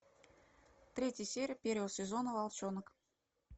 третья серия первого сезона волчонок